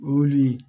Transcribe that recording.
O le